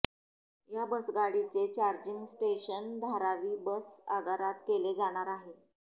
या बसगाडीचे charging station Dharavi bus आगारात केले जाणार आहे